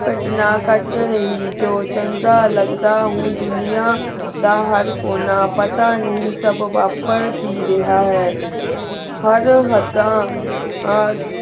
ਕਟਨਾ ਕਤ ਰਹੀ ਜੋ ਚੰਗਾ ਲਾਗ ਦਾ ਹੁਣ ਦੁਨਿਆ ਦਾ ਹਰ ਕੋਨਾ ਪਤਾ ਨਹੀ ਸਬ ਵਾਪਰ ਕੀ ਰਾਯ੍ਹਾ ਹੈ ਹਰ ਹੱਦਾ ਆ